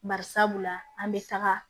Bari sabula an bɛ taga